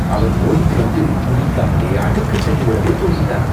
அவன் ஓடிட்டு வந்து, குளிக்காமலே அழுக்கு சட்டையோடவே தூங்கிட்டான்.